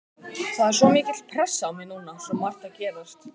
Það er svo mikil pressa á mér núna, svo margt að gerast.